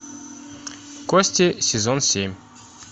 кости сезон семь